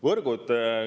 Võrgud.